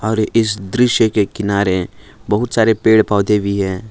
और इस दृश्य के किनारे बहुत सारे पेड़ पौधा भाई है।